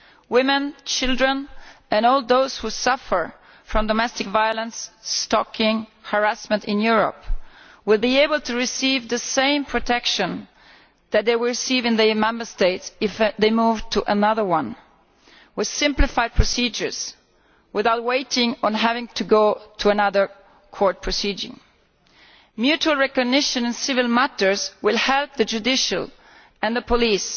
Women, children and all those who suffer from domestic violence, stalking and harassment in Europe will be able to receive the same protection that they receive in their own Member State if they move to another one, with simplified procedures and without waiting to go through another court procedure. Mutual recognition in civil matters will help the judiciary and the police